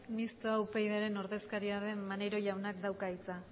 mistoa upyd taldearen ordezkaria den maneiro jaunak dauka hitza